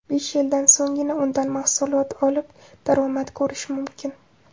Besh yildan so‘nggina undan mahsulot olib, daromad ko‘rish mumkin.